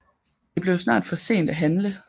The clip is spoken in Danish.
Det blev snart for sent at handle